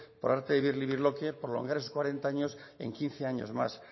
por arte de birlibirloque prolongar esos cuarenta años en quince años más